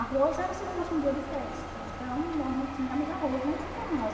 Arroz era se fosse um dia de festa, então nós não tínhamos arroz nem macarrão.